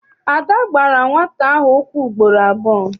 Ada gbara nwata ahụ ụkwụ ugboro abụọ.